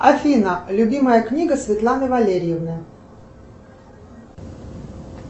афина любимая книга светланы валерьевны